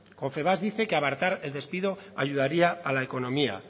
confebask dice que abaratar el despido ayudaría a la economía